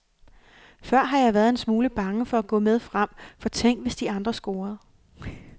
Før har jeg været en smule bange for at gå med frem, for tænk, hvis de andre scorede.